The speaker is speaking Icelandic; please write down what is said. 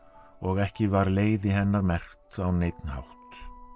og ekki var leiði hennar merkt á neinn hátt